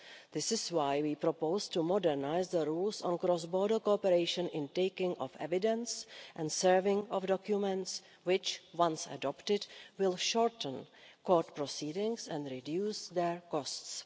This is why we propose to modernise the rules on cross border cooperation in taking of evidence and serving of documents which once adopted will shorten court proceedings and reduce their costs.